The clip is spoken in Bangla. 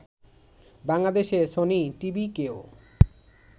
বাংলাদেশে সনি টিভিকেও